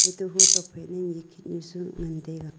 atoh ho tokphai ma nikhet nu shu ngan taiga.